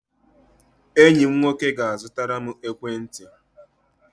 Enyi m nwoke ga-azụtara m ekwentị.